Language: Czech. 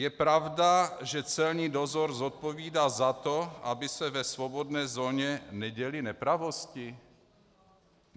Je pravda, že celní dozor zodpovídá za to, aby se ve svobodné zóně neděly nepravosti?